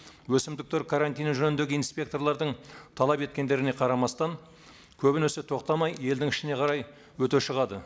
өсімдіктер карантині жөніндегі инспекторлардың талап еткендеріне қарамастан көбінесе тоқтамай елдің ішіне қарай өте шығады